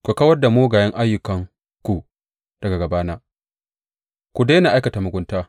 Ku kawar da mugayen ayyukanku daga gabana; Ku daina aikata mugunta.